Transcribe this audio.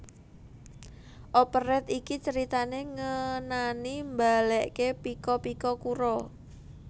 Operet iki critané ngenani mbaliké Pika Pika Kuro